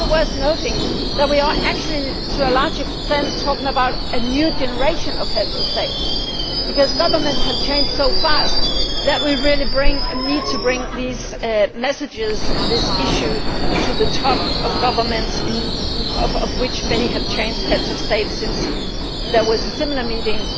It is also worth noting that we are actually to a large extent talking about a new generation of Heads of State, because governments have changed so fast that we really need to bring these messages and this issue to the top of governments, many of which have changed heads of state since the last similar meeting